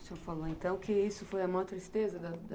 O senhor falou então que isso foi a maior tristeza da da